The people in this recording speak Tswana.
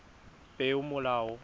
peomolao